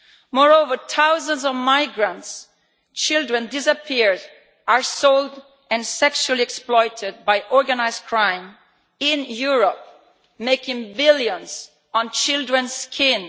Moreover, thousands of migrant children have disappeared, are sold and sexually exploited by organised crime in Europe, making billions on children's skin.